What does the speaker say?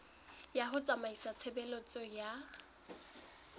ya ho tsamaisa tshebeletso ya